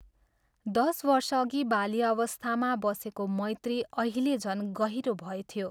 दश वर्षअघि बाल्यावस्थामा बसेको मैत्री अहिले झन् गहिरो भएथ्यो।